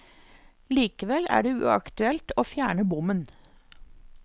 Likevel er det uaktuelt å fjerne bommen.